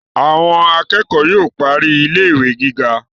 Àwọn akẹ́kọ̀ọ́ yóò parí ilé ìwé gíga